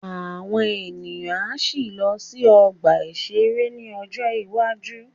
Àwọn èèyàn á sì lọ sí ọgbà-ìṣeré ní ọjọ́ iwájú